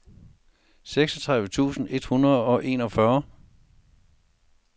seksogtredive tusind et hundrede og enogfyrre